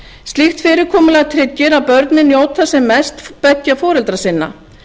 slíkt fyrirkomulag tryggir að börnin njóti sem mest beggja foreldra sinna